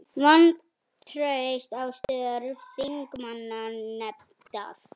Vantraust á störf þingmannanefndar